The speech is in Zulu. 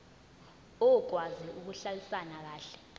okwazi ukuhlalisana kahle